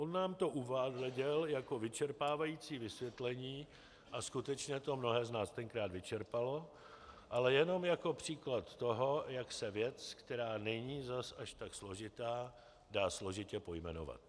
On nám to neuváděl jako vyčerpávající vysvětlení, a skutečně to mnohé z nás tenkrát vyčerpalo, ale jenom jako příklad toho, jak se věc, která není zase až tak složitá, dá složitě pojmenovat.